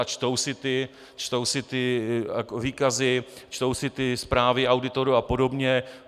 a čtou si ty výkazy, čtou si ty zprávy auditorů a podobně.